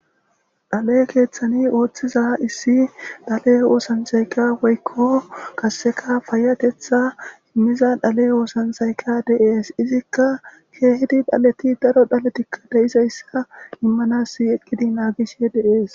Dhale keeththani ooththiza issi dhale oosancayka woykko kasseka fayatetha immiza dhale oosansayka deees izikka keehidi dhaleti daro dhaletikka deiza issa immanas eqqidi naagishe deees.